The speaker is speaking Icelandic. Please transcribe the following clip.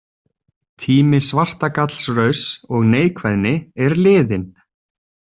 Tími svartagallsrauss og neikvæðni er liðinn.